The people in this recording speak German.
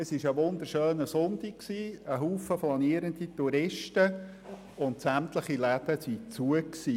Es war ein wunderschöner Sonntag, viele Touristen und sämtliche Läden waren geschlossen.